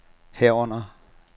herunder